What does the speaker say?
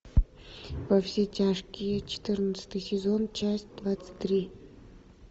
во все тяжкие четырнадцатый сезон часть двадцать три